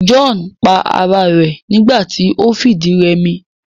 John pa ara rẹ̀ nígbà ti o fìdírẹmi